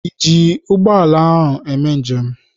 Ị ji ụgbọ ala eme njem?